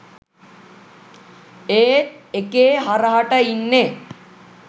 ඒත් එකේ හරහට ඉන්නේ